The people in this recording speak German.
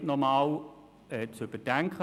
Ich bitte Sie wirklich sehr, dies zu bedenken.